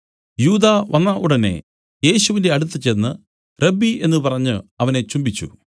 യൂദാ വന്ന ഉടനെ യേശുവിന്റെ അടുത്തുചെന്ന് റബ്ബീ എന്നു പറഞ്ഞു അവനെ ചുംബിച്ചു